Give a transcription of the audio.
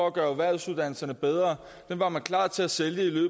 at gøre erhvervsuddannelserne bedre var man klar til at sælge i